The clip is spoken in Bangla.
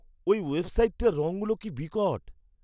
এই ওয়েবসাইটের রঙগুলো কি বিকট!